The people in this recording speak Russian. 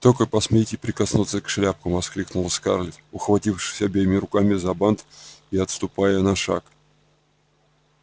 только посмейте прикоснуться к шляпку воскликнула скарлетт ухватившись обеими руками за бант и отступая на шаг